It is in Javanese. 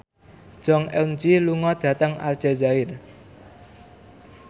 Jong Eun Ji lunga dhateng Aljazair